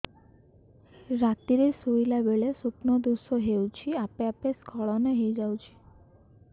ରାତିରେ ଶୋଇଲା ବେଳେ ସ୍ବପ୍ନ ଦୋଷ ହେଉଛି ଆପେ ଆପେ ସ୍ଖଳନ ହେଇଯାଉଛି